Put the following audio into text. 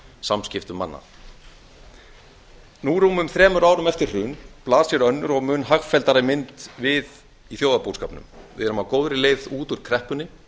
samskiptum manna nú rúmum þremur árum eftir hrun blasir önnur og hagfelldari mynd við í þjóðarbúskapnum við erum á góðri leið út úr kreppunni